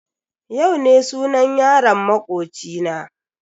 Yau ne sunan yaron makoci na.